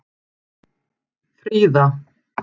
Fríða